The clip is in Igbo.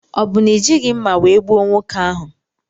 Ọ bụ na ijighi mma wee gbuo nwoke ahụ?